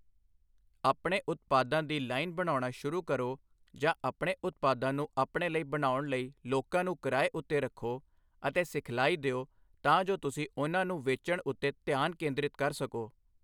ਆਪਣੇ ਉਤਪਾਦਾਂ ਦੀ ਲਾਈਨ ਬਣਾਉਣਾ ਸ਼ੁਰੂ ਕਰੋ ਜਾਂ ਆਪਣੇ ਉਤਪਾਦਾਂ ਨੂੰ ਆਪਣੇ ਲਈ ਬਣਾਉਣ ਲਈ ਲੋਕਾਂ ਨੂੰ ਕਿਰਾਏ ਉੱਤੇ ਰੱਖੋ ਅਤੇ ਸਿਖਲਾਈ ਦਿਓ ਤਾਂ ਜੋ ਤੁਸੀਂ ਉਨ੍ਹਾਂ ਨੂੰ ਵੇਚਣ ਉੱਤੇ ਧਿਆਨ ਕੇਂਦਰਿਤ ਕਰ ਸਕੋ।